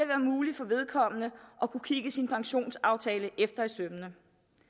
være muligt for vedkommende at kunne kigge sin pensionsaftale efter i sømmene